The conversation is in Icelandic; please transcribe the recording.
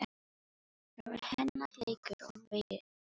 Það var hennar leikur og veiki í senn.